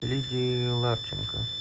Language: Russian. лидии ларченко